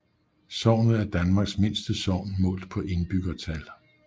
Sognet er Danmarks mindste sogn målt på indbyggertal